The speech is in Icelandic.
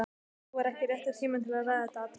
Nú var ekki rétti tíminn til að ræða þetta atriði.